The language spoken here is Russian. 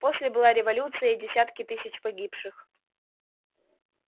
после была революция и десятки тысяч погибших